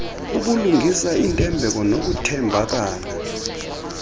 ubulungisa intembeko nokuthembakala